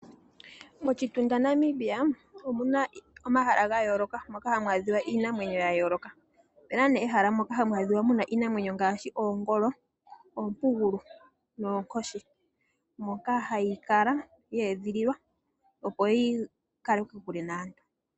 Moshitunda Namibia omuna omahala ga yooloka moka hamu adhika iinamwenyo ya yooloka. Opena nee ehala moka hamu adhika muna iinamwenyo ngaashi oongolo, oompugulu noonkoshi moka hayi kala ye edhililwa opo yikale kokule naantu.